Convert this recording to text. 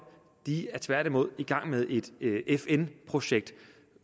de er tværtimod i gang med et fn projekt